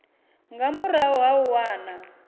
nga murahu ha u wana